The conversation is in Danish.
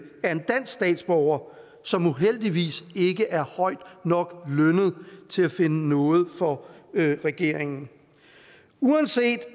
er en dansk statsborger som uheldigvis ikke er højt nok lønnet til at finde nåde for regeringen uanset